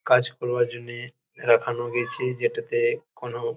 কাজ করবার জন্যে দেখানো হয়েছে যেটাতে কোনো--